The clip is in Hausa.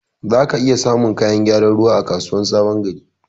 Zaka iya samun kayan gyaran ruwa a kasuwar sabon gari.